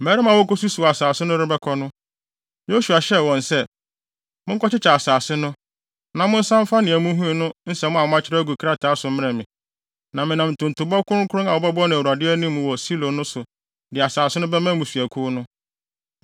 Mmarima a wɔrekosusuw asase no rebɛkɔ no, Yosua hyɛɛ wɔn sɛ, “Monkɔkyekyɛ asase no, na monsan mfa nea muhui ho nsɛm a moakyerɛw agu krataa so mmrɛ me, na menam ntontobɔ kronkron a wɔbɛbɔ no Awurade anim wɔ Silo no so de asase no bɛma mmusuakuw no.”